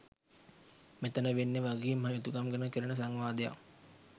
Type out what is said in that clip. මෙතැන වෙන්නේ වගකීම් හා යුතුකම් ගැන කෙරෙන සංවාදයක්.